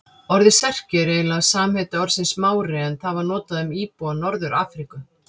Orðið Serki er eiginlega samheiti orðsins Mári en það var notað um íbúa Norður-Afríku.